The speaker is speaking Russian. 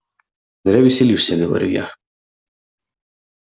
зря веселишься говорю я